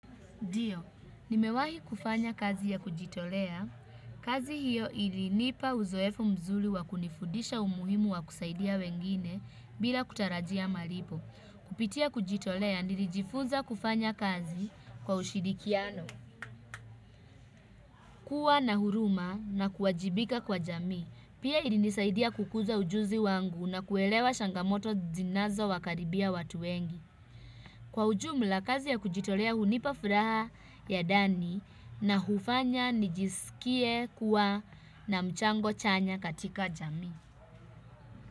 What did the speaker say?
Ndio, nimewahi kufanya kazi ya kujitolea. Kazi hiyo ilinipa uzoefu mzuri wa kunifudisha umuhimu wa kusaidia wengine bila kutarajia malipo. Kupitia kujitolea, nilijifunza kufanya kazi kwa ushirikiano, kuwa na huruma na kuwajibika kwa jamii. Pia ilinisaidia kukuza ujuzi wangu na kuelewa changamoto zinazowakaribia watu wengi. Kwa ujumla kazi ya kujitolea hunipa furaha ya ndani na hufanya nijiskie kuwa na mchango chanya katika jamii.